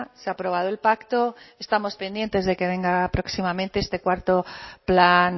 se ha aprobado el pacto estamos pendientes de que venga próximamente este cuarto plan